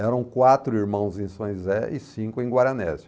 Eram quatro irmãos em São José e cinco em Guaranésia.